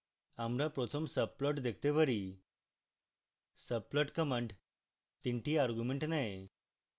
আমরা প্রথম subplot দেখতে পারি subplot command তিনটি arguments নেয়